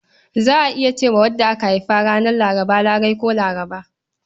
Za a iya ce wa wadda aka haifa ranar Laraba Larai ko Larba.